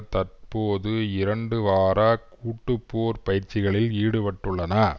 தற்போது இரண்டு வார கூட்டு போர் பயிற்சிகளில் ஈடுபட்டுள்ளன